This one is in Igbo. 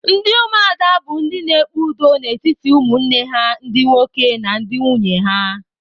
Ndị ụmụada bụ ndị na-ekpe udo n'etiti ụmụnne ha ndị nwoke na ndị nwunye ha.